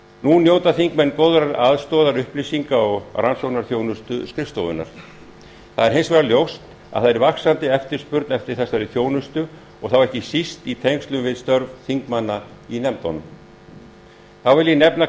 nú njóta þingmenn góðrar aðstoðar upplýsinga og rannsóknarþjónustu skrifstofunnar það er hins vegar ljóst að það er vaxandi eftirspurn eftir þessari þjónustu og þá ekki síst í tengslum við störf þingmanna í nefndunum þá vil ég nefna